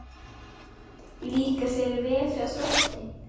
Líkar þér vel hjá Þrótti?